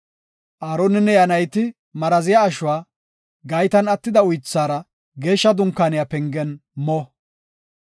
Aaroninne iya nayti maraziya ashuwa gaytan attida uythaara Geeshsha Dunkaaniya pengen mo.